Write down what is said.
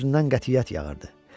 Üzgözündən qətiyyət yağırdı.